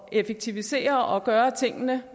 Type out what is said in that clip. at effektivisere og gøre tingene